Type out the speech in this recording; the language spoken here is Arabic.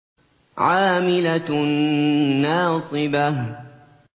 عَامِلَةٌ نَّاصِبَةٌ